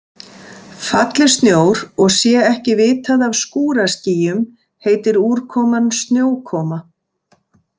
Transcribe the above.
Falli snjór og sé ekki vitað af skúraskýjum heitir úrkoman snjókoma.